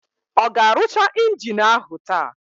Ọ ga-arụcha injini áhụ̀ taa?